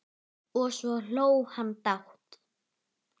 Og svo hló hann dátt!